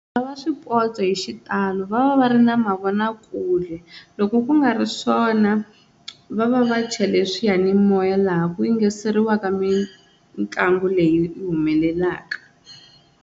Lava swipotso hi xitalo va va va ri na mavonakule loko ku nga ri swona va va va chele swiyanimoya laha ku yingiseriwaka mitlangu leyi yi humelelaka.